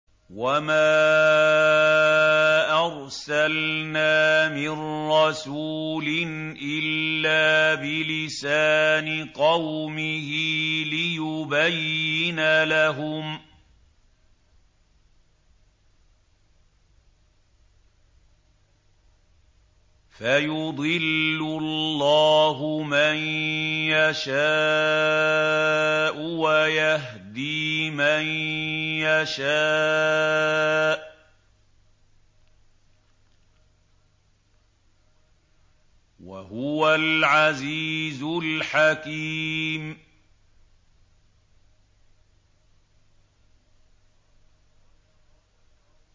وَمَا أَرْسَلْنَا مِن رَّسُولٍ إِلَّا بِلِسَانِ قَوْمِهِ لِيُبَيِّنَ لَهُمْ ۖ فَيُضِلُّ اللَّهُ مَن يَشَاءُ وَيَهْدِي مَن يَشَاءُ ۚ وَهُوَ الْعَزِيزُ الْحَكِيمُ